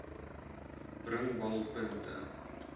bringbalpunte